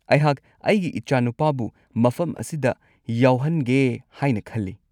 ꯑꯩꯍꯥꯛ ꯑꯩꯒꯤ ꯏꯆꯥꯅꯨꯄꯥꯕꯨ ꯃꯐꯝ ꯑꯁꯤꯗ ꯌꯥꯎꯍꯟꯒꯦ ꯍꯥꯏꯅ ꯈꯜꯂꯤ꯫